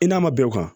I n'a ma bɛn o kan